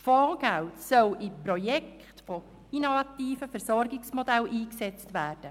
Das Fondsgeld soll für Projekte für innovative Versorgungsmodelle eingesetzt werden.